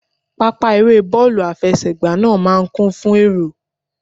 Pápá eré bọ́ọ̀lù àfẹsẹ̀gbá náà máa ń kún fún èrò